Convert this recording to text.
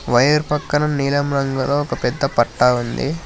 Wire పక్కన నీలం రంగు గల ఒక పెద్ద పట్టా ఉంది.